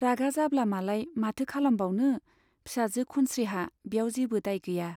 रागा जाब्ला मालाय माथो खालामबावनो , फिसाजो खनस्रीहा ब्याव जेबो दाय गैया।